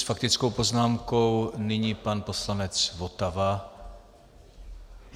S faktickou poznámkou nyní pan poslanec Votava.